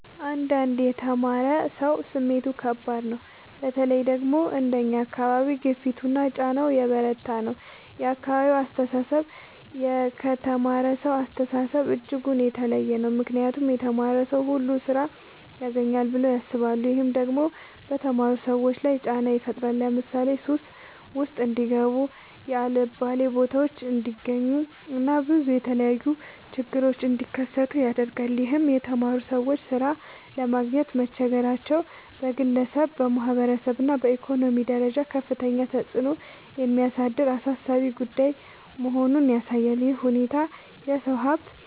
አንዳንድ የተማረ ሰው ስሜቱ ከባድ ነው በተለይ ደግሞ አንደኛ አካባቢ ግፊቱና ጫና የበረታ ነው የአካባቢው አስተሳሰብ ከተማረሳው አስተሳሰብ እጅጉን የተለየ ነው ምክንያቱም የተማረ ሰው ሁሉ ስራ ያግኝ ብለው ያስባሉ። ይህም ደግሞ በተማሩ ሰዎች ላይ ጫና ይፈጥራል ለምሳሌ ሱስ ውስጥ እንዲጋቡ የአልባሌ ቦታዎች እንዲገኙ እና ብዙ የተለያዩ ችግሮች እንዲከሰቱ ያደርጋል ይህም የተማሩ ሰዎች ሥራ ለማግኘት መቸገራቸው በግለሰብ፣ በማህበረሰብ እና በኢኮኖሚ ደረጃ ከፍተኛ ተጽዕኖ የሚያሳድር አሳሳቢ ጉዳይ መሆኑን ያሳያል። ይህ ሁኔታ የሰው ሀብት